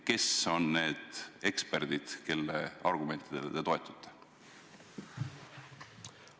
Kes on need eksperdid, kelle argumentidele te toetute?